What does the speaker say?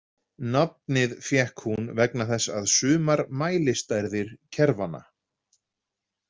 Nafnið fékk hún vegna þess að sumar mælistærðir kerfanna.